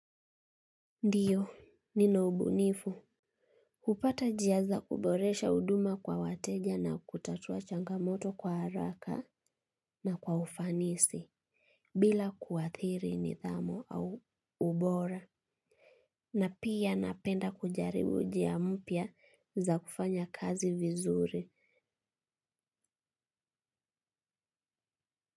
Ndiyo nina ubunifu hupata njia za kuboresha huduma kwa wateja na kutatua changamoto kwa haraka na kwa ufanisi bila kuathiri nidhamu au ubora na pia napenda kujaribu njia mpya za kufanya kazi vizuri.